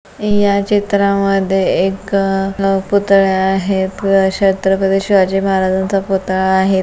या चित्रा मध्ये एक अह पूतळे आहेत छत्रपती शिवाजी महाराजांचा पुतळा आहे.